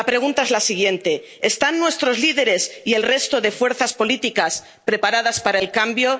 La pregunta es la siguiente, ¿están nuestros líderes y el resto de fuerzas políticas preparados para el cambio?